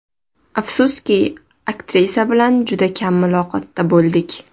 Afsuski, aktrisa bilan juda kam muloqotda bo‘ldik.